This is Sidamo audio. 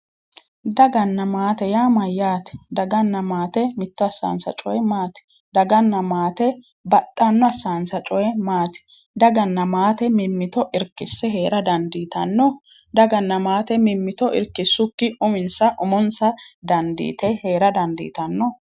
Daganna maate yaa mayyate? Daganna maate mitto assawonsa coyi maati? Daganna maate baxxanno assawonsa coyi maati daganna maate mimmito irkisse heera dandiitanno mimmito irkisukki umonsa umonsa dandiite heera dandiitanno.